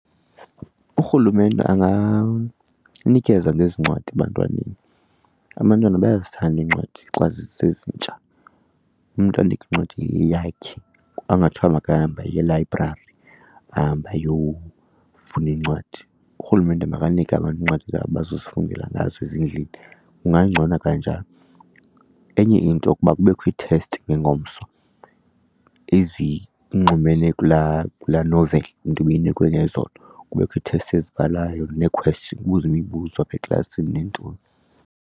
Urhulumente anganikeza ngezi iincwadi ebantwaneni. Abantwana bayazithanda iincwadi xa zisezintsha, umntu amnike incwadi eyeyakhe angathiwa makahambe eyelayibrari ahambe ayofuna incwadi. Urhulumente makanike abantu iincwadi abazozifundela ngazo ezindlini, kungangcono kanjalo. Enye into yokuba kubekho ii-test ngengomso ezinxumene kulaa kulaa noveli umntu ibeyinikwe ngezolo, kubekho ithesti ezibhalwayo neekhweshini kubuzwe imibuzo apha eklasini neentoni.